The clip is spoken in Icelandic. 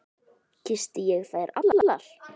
Kyssti ég þær allar.